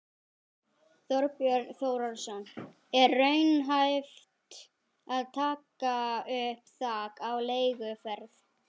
Þorbjörn Þórðarson: Er raunhæft að taka upp þak á leiguverð?